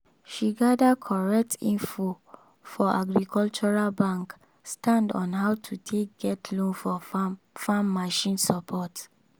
she gather correct info for agricultural bank stand on how to take get loan for farm farm machine support.